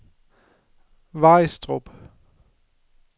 Vejstrup